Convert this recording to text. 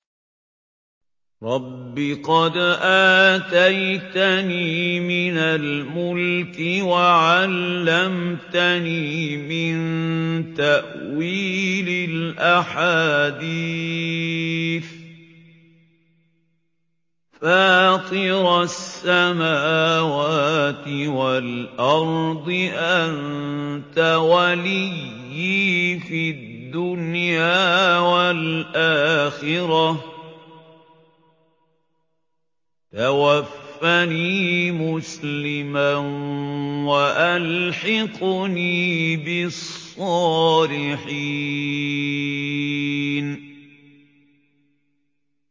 ۞ رَبِّ قَدْ آتَيْتَنِي مِنَ الْمُلْكِ وَعَلَّمْتَنِي مِن تَأْوِيلِ الْأَحَادِيثِ ۚ فَاطِرَ السَّمَاوَاتِ وَالْأَرْضِ أَنتَ وَلِيِّي فِي الدُّنْيَا وَالْآخِرَةِ ۖ تَوَفَّنِي مُسْلِمًا وَأَلْحِقْنِي بِالصَّالِحِينَ